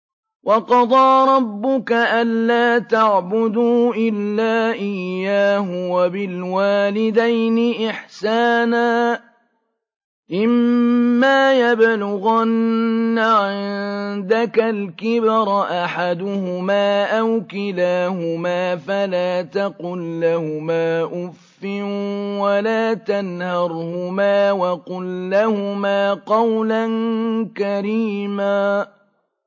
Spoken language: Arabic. ۞ وَقَضَىٰ رَبُّكَ أَلَّا تَعْبُدُوا إِلَّا إِيَّاهُ وَبِالْوَالِدَيْنِ إِحْسَانًا ۚ إِمَّا يَبْلُغَنَّ عِندَكَ الْكِبَرَ أَحَدُهُمَا أَوْ كِلَاهُمَا فَلَا تَقُل لَّهُمَا أُفٍّ وَلَا تَنْهَرْهُمَا وَقُل لَّهُمَا قَوْلًا كَرِيمًا